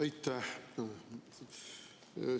Aitäh!